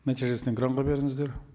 нәтижесін экранға беріңіздер